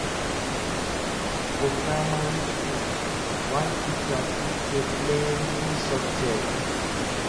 For primary school, one teacher fit take plenty subject